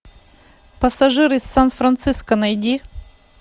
пассажир из сан франциско найди